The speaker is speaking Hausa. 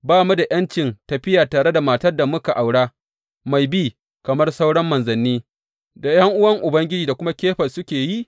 Ba mu da ’yancin tafiya tare da matar da muka aura mai bi kamar sauran manzanni da ’yan’uwan Ubangiji da kuma Kefas suke yi?